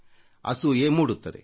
ಅಸೂಯೆ ಮೂಡುತ್ತದೆ